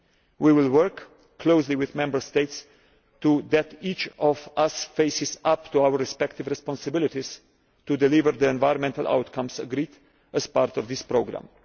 We will work closely with the Member States so that each of us faces up to our respective responsibilities to deliver the environmental outcomes agreed as part of this programme.